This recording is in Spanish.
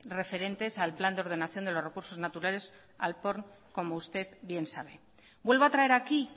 referentes al plan de ordenación de los recursos naturales al porn como usted bien sabe vuelvo a traer aquí